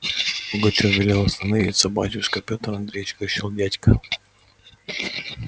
пугачёв велел остановиться батюшка петр андреич кричал дядька